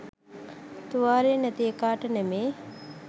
තුවාලේ නැති එකාට නෙමේ.